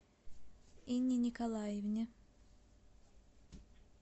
инне николаевне